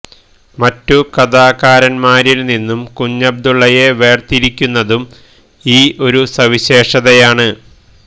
മറ്റു കഥാകാരന്മാരിൽ നിന്നും കുഞ്ഞബ്ദുളളയെ വേർതിരിക്കുന്നതും ഈ ഒരു സവിശേഷതയാണ്